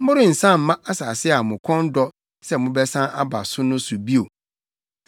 Morensan mma asase a mo kɔn dɔ sɛ mobɛsan aba so no so bio.”